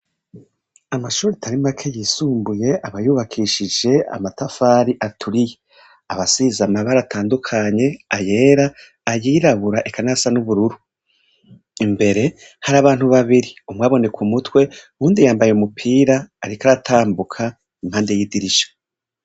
Amashuri itarimake yisumbuye abayubakishije amatafari aturiye abasizamabara atandukanye ayera ayirabura ekanasa n'ubururu imbere hari abantu babiri umwaboneku mutwe wundi yambaye umupira, ariko aratambuka impande y'idirisha.